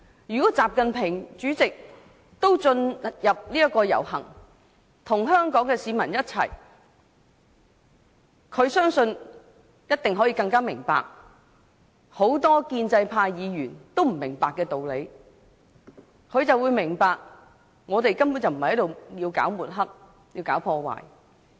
如果主席習近平也能參與遊行，與香港市民一起，我相信他一定更能明白很多建制派議員都不明白的道理，那便是我們根本不是抹黑、搞破壞。